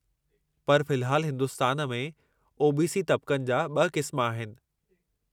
पर फ़िलहालु, हिन्दुस्तान में ओ.बी.सी. तबक़नि जा ॿ क़िस्म आहिनि।